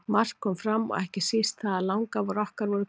Margt kom fram og ekki síst það að langafar okkar voru kunningjar.